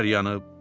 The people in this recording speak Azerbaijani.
əkinlər yanıb.